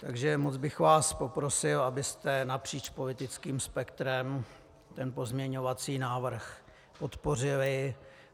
Takže moc bych vás poprosil, abyste napříč politickým spektrem ten pozměňovací návrh podpořili.